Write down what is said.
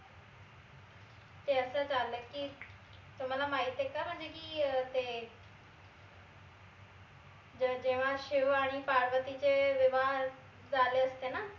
ते अस झालं की तुम्हाला माहित आहे का म्हणजे ही अं ते? जेव्हा शिव आणि पार्वतीचे विवाह झाले होते ना